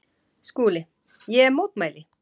SKÚLI: Ég mótmæli!